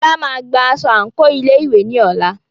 Fola máa gba aṣọ àǹkóò ilé ìwé ní ọ̀la.